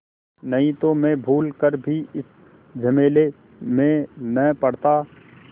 नहीं तो मैं भूल कर भी इस झमेले में न पड़ता